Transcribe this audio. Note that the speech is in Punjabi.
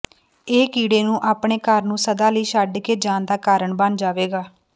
ਇਹ ਕੀੜੇ ਨੂੰ ਆਪਣੇ ਘਰ ਨੂੰ ਸਦਾ ਲਈ ਛੱਡ ਕੇ ਜਾਣ ਦਾ ਕਾਰਨ ਬਣ ਜਾਵੇਗਾ